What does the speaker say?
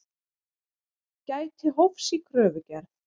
Gæti hófs í kröfugerð